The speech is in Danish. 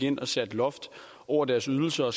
ind og sætter et loft over deres ydelser og